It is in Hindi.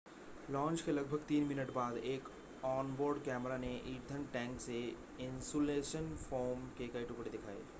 लॉन्च के लगभग 3 मिनट बाद एक ऑन-बोर्ड कैमरा ने ईंधन टैंक से इन्सुलेशन फ़ोम के कई टुकड़े दिखाए